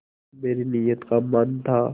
मेरी नीयत का मान था